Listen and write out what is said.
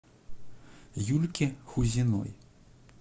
юльке хузиной